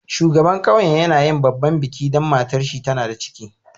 Shugaban ƙauyen yana yin babban biki dan matan shi tana da ciki.